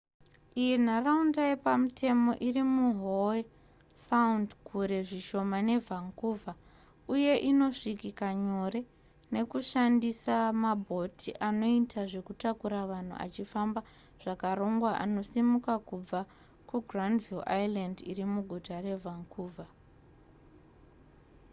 iyi nharaunda yepamutemo iri muhowe sound kure zvishoma nevancouver uye inosvikika nyore nekushandisa mabhoti anoita zvekutakura vanhu achifamba zvakarongwa anosimuka kubva kugranville island iri muguta revancouver